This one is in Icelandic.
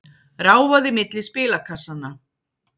Ráfaði milli spilakassanna.